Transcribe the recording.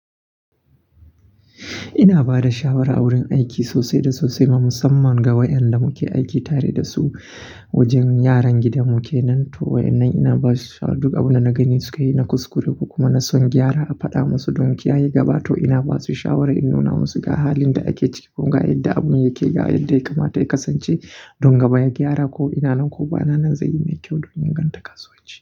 Ina ba da shawara a wurin aiki sosai da sosai ma, musamman ga waƴanda muke aiki tare da su wajen yaran gidan mu ke nan. To waƴannan ina ba su shawa duk abun da na gani sukayi na kuskure kuma na son gyara a fada musu don kiyaye gaba. To ina basu shawara in nuna musu ga halin da ake ciki kuma ga yadda abun yake ga yadda ya kamata ya kasance don gaba ya gyara ko ina nan ko ba na nan zai yi mai kyau don inganta kasuwanci.